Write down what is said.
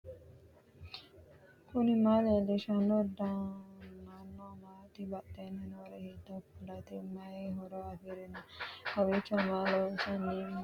knuni maa leellishanno ? danano maati ? badheenni noori hiitto kuulaati ? mayi horo afirino ? kowiicho maa loosano mannoooti nooikka